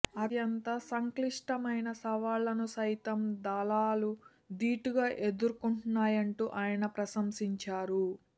అత్యంత సంక్లిష్టమైన సవాళ్లను సైతం దళాలు దీటుగా ఎదుర్కొన్నాయంటూ ఆయన ప్రశంసించారు